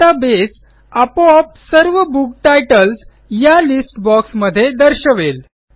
आता बेस आपोआप सर्व बुक टाइटल्स या लिस्ट बॉक्स मध्ये दर्शवेल